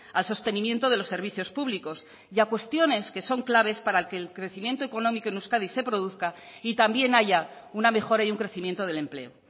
al sostenimiento de los servicios públicos y a cuestiones que son claves para que el crecimiento económico en euskadi se produzca y también haya una mejora y un crecimiento del empleo